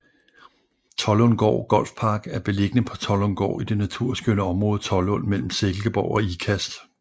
Tollundgaard Golf Park er beliggende på Tollundgaard i det naturskønne område Tollund mellem Silkeborg og Ikast